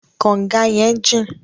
Kọ̀nga yẹn jìn.